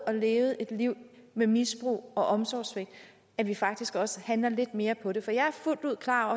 har levet et liv med misbrug og omsorgssvigt at vi faktisk også handler lidt mere på det for jeg er fuldt ud klar